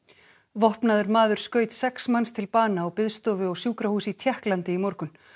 vopnaður maður skaut sex manns til bana á biðstofu á sjúkrahúsi í Tékklandi í morgun